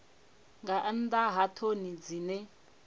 nga nnḓa ha ṱhoni dzine